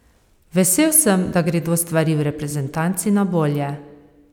Vesel sem, da gredo stvari v reprezentanci na bolje.